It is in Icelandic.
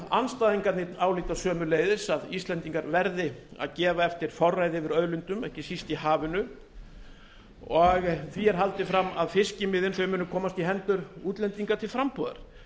andstæðingarnir álíta sömuleiðis að íslendingar verði að gefa eftir forræði yfir auðlindum ekki síst í hafinu og því er haldið fram að fiskimiðin muni komast í hendur útlendinga til frambúðar